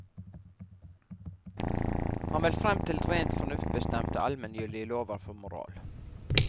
Han vil frem til rent fornuftsbestemte, almengyldige lover for moral.